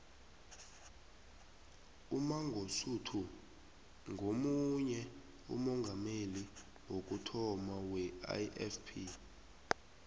umangosuthu nguye umongameli wokuthoma weifp